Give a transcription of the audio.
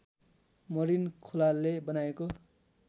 Marin खोलाले बनाएको